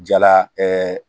Jala